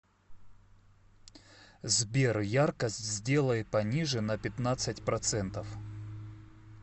сбер яркость сделай пониже на пятнадцать процентов